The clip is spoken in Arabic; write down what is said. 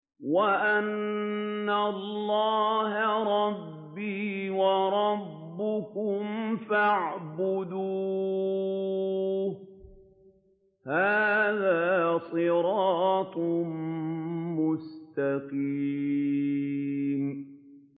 وَإِنَّ اللَّهَ رَبِّي وَرَبُّكُمْ فَاعْبُدُوهُ ۚ هَٰذَا صِرَاطٌ مُّسْتَقِيمٌ